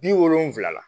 Bi wolonfila la